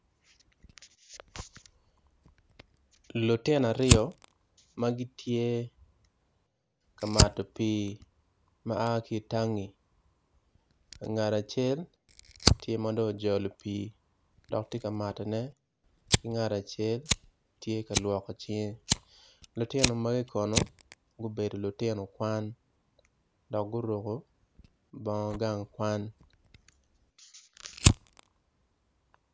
Lutino aryo magitye ka mato pi ma a ki tangi ngat acel tye madong ojolo pi dok tye ka mato ne ki ngat acel tye ka lwoko cinge lutino magi kono gubedo lutino kwan dok guruko bongo gang kwan.